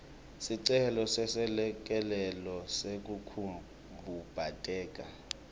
sicelo seselekelelo sekukhubateka